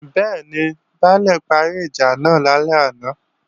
Bẹ́ẹ̀ni, Baálè parí ìjà náà lálẹ́ àná